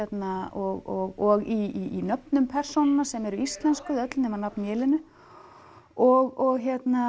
og í nöfnum persónanna sem eru öll íslenskuð nema nafn og